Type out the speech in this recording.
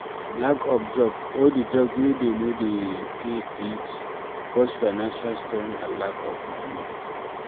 Lack of job or di job wey dey no dey pay fit cause finanial strain and lack of money